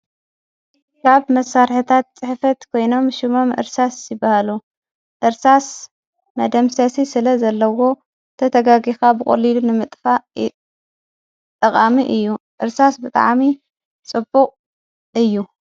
ካብ መሣርሕታት ጽሕፈት ኮይኖም ሹሞም ዕርሳስ ይበሃሉ ዕርሳስ መደምሴሲ ስለ ዘለዎ ተተጋጊኻ ብቖሊሉ ንምጥፋ ጠቓሚ እዩ ዕርሳስ ብጥዓሚ ጽቡቕ እዩ።